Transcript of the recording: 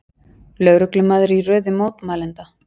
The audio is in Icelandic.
Lögreglumaður í röðum mótmælenda